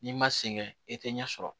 N'i ma sɛŋɛ i tɛ ɲɛ sɔrɔ